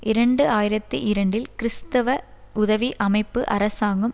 இரண்டு ஆயிரத்தி இரண்டில் கிறிஸ்தவ உதவி அமைப்பு அரசாங்கம்